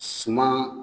Suma